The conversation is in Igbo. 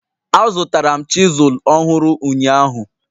Azụtara m chisilu ọhụrụ ụnyahụ.